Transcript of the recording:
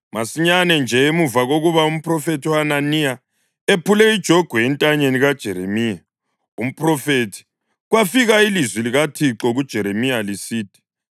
Masinyane nje emuva kokuba umphrofethi uHananiya ephule ijogwe entanyeni kaJeremiya umphrofethi, kwafika ilizwi likaThixo kuJeremiya lisithi: